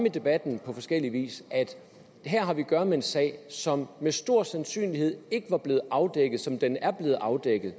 i debatten på forskellig vis at her har vi at gøre med en sag som med stor sandsynlighed ikke var blevet afdækket som den er blevet afdækket